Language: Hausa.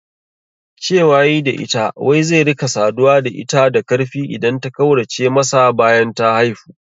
Cewa yayi da ita wai zai rika saduwa da ita da karfi idan ta kaurace masa bayan ta haifu